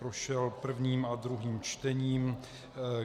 Prošel prvním a druhým čtením.